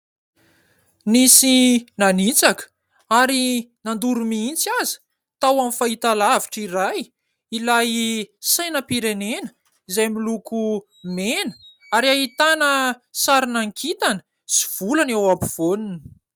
Nisy nanitsaka ary nandoro mihitsy aza tao amin'ny fahitalavitra iray ilay sainampirenena izay miloko mena ary ahitana sarina kintana sy volana eo ampovoaniny.